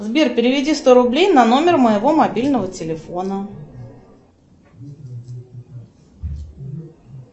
сбер переведи сто рублей на номер моего мобильного телефона